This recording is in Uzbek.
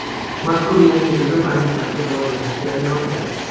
Mazkur yangi tizim ayni paytda rivojlanish jarayonida.